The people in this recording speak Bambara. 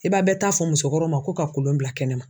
I b'a bɛ ta fɔ musokɔrɔw ma ko ka kolon bila kɛnɛ ma.